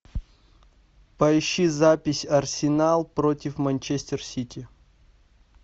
поищи запись арсенал против манчестер сити